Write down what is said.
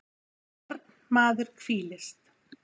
fornmaður hvílist